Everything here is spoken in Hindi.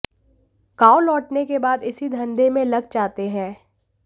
गांव लौटने के बाद इसी धंधे में लग जाते हैं